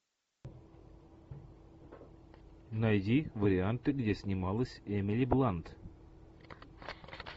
найди варианты где снималась эмили блант